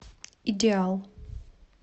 идеал